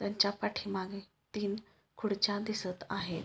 त्यांच्या पाठीमागे तीन खुर्च्या दिसत आहेत.